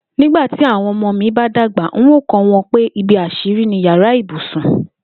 Nígbà tí àwo̩n o̩mo̩ mi bá dàgbà, n óò kó̩ wo̩n pé ibi às̩írí ni yàrá ibùsùn